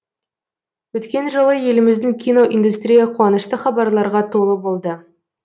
өткен жылы еліміздің кино индустрия қуанышты хабарларға толы болды